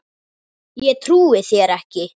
Ég trúi þér ekki.